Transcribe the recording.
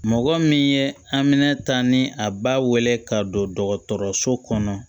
Mɔgɔ min ye aminɛn ta ni a ba weele ka don dɔgɔtɔrɔso kɔnɔ